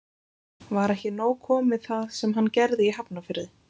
Var ekki nóg komið það sem hann gerði í Hafnarfirði?